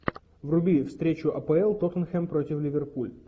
вруби встречу апл тоттенхэм против ливерпуль